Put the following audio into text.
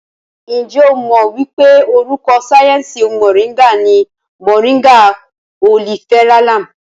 Ǹjẹ́ o mọ̀ wípé orúkọ sáyẹnsì Mọ̀ríngà ní Moringa oleifera Lam?